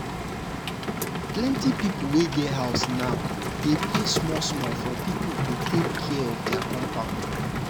plenty people wey get house now dey pay small small for people to take care of their compound.